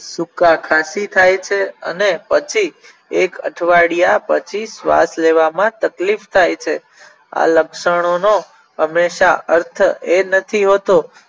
સુકા ખાંસી થાય છે અને પછી એક અઠવાડિયા પછી શ્વાસ લેવામાં તકલીફ થાય છે આ લક્ષણોનો હંમેશા અર્થ એ નથી હોતો